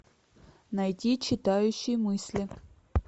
найти читающий мысли